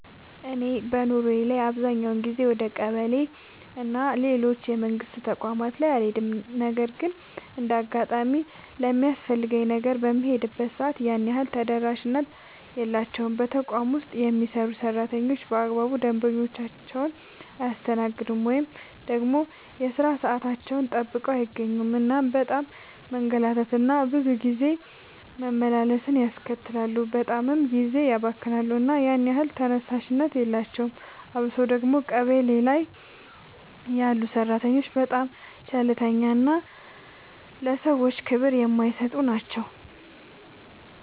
እኔ በኑሮዬ ላይ አብዛኛውን ጊዜ ወደ ቀበሌ እና ሌሎች የመንግስት ተቋማት ላይ አልሄድም ነገር ግን እንደ አጋጣሚ ለሚያስፈልገኝ ነገር በምሄድበት ሰዓት ያን ያህል ተደራሽነት የላቸውም። በተቋም ውስጥ የሚሰሩ ሰራተኞች በአግባቡ ደንበኞቻቸውን አያስተናግዱም። ወይ ደግሞ የሥራ ሰዓታቸውን ጠብቀው አይገኙም እናም በጣም መንገላታት እና ብዙ ጊዜ መመላለስን ያስከትላሉ በጣምም ጊዜ ያባክናሉ እና ያን ያህል ተደራሽነት የላቸውም። አብሶ ደግሞ ቀበሌ ላይ ያሉ ሰራተኞች በጣም ቸልተኛ እና ለሰዎች ክብር የማይሰጡ ናቸው።